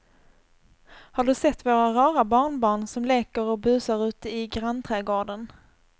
Har du sett våra rara barnbarn som leker och busar ute i grannträdgården!